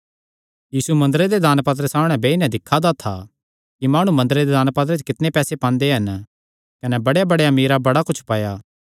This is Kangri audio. यीशु मंदरे दे दानपात्रे सामणै बेई नैं दिक्खा दा था कि माणु मंदरे दे दानपात्रे च कितणे पैसे पांदे हन कने बड़ेयांबड़ेयां अमीरां बड़ा कुच्छ पाया